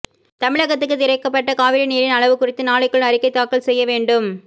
தமிழகத்துக்கு திறக்கப்பட்ட காவிரி நீரின் அளவு குறித்து நாளைக்குள் அறிக்கை தாக்கல் செய்ய வேண்டும்